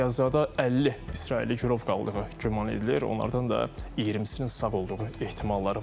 Qəzzada 50 İsrailli girov qaldığı güman edilir, onlardan da 20-sinin sağ olduğu ehtimalları var.